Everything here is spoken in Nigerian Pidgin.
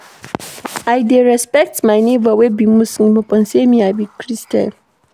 I dey respect my nebor wey be Muslim upon sey me I be Christian.